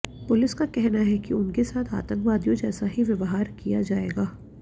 police का कहना है कि उनके साथ आतंकवादियों जैसा ही व्यवहार किया जाएगा